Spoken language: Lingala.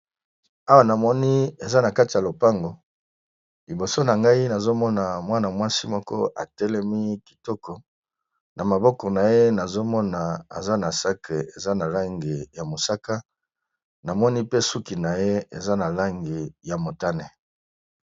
Awa namoni eza na kati ya lopango liboso na ngai nazomona mwana-mwasi moko atelemi kitoko na maboko na ye nazomona aza na sake eza na lange ya mosaka namoni pe suki na ye eza na lange ya motane.